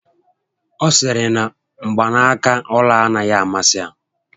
Ọ sịrị na mgbanaka ọla anaghị amasị ya